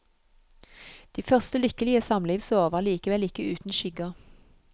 De første lykkelige samlivsår var likevel ikke uten skygger.